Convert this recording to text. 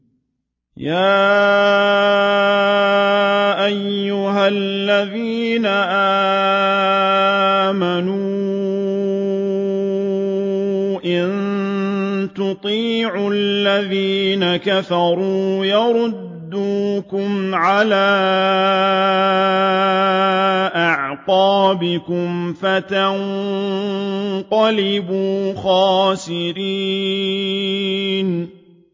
يَا أَيُّهَا الَّذِينَ آمَنُوا إِن تُطِيعُوا الَّذِينَ كَفَرُوا يَرُدُّوكُمْ عَلَىٰ أَعْقَابِكُمْ فَتَنقَلِبُوا خَاسِرِينَ